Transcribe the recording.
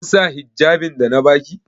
Kin sa hijjabin da na ba ki?